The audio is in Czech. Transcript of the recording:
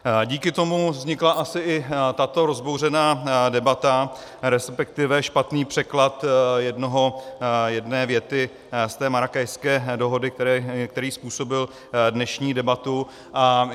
Díky tomu vznikla asi i tato rozbouřená debata, respektive špatný překlad jedné věty z té Marrákešské dohody, který způsobil dnešní debatu.